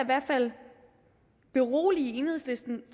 hvert fald berolige enhedslisten